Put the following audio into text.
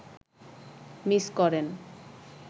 miss করেন